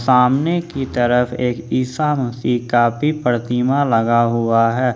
सामने की तरफ एक ईसा मसीह का भी प्रतिमा लगा हुआ है।